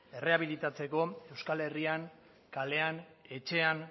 erreabilitzatzeko euskal herrian kalean etxean